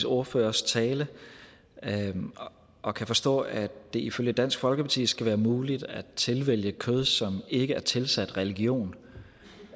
ordførers tale og kan forstå at det ifølge dansk folkeparti skal være muligt at tilvælge kød som ikke er tilsat religion